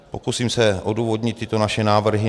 Pokusím se odůvodnit tyto naše návrhy.